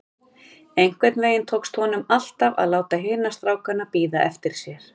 Einhvern veginn tókst honum alltaf að láta hina strákana bíða eftir sér.